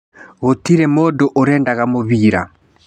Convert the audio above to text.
" Gũtirĩ mũndũ ũrendaga mũbira